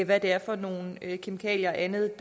hvad det er for nogle kemikalier og andet